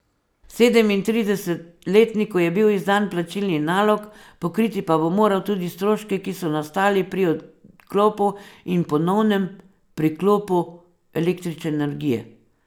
Sedemintridesetletniku je bil izdan plačilni nalog, pokriti pa bo moral tudi stroške, ki so nastali pri odklopu in ponovnem priklopu električne energije.